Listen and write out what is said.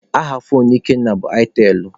Aha foonu Ikenna bụ aitelụ.